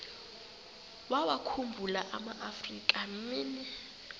wawakhumbul amaafrika mini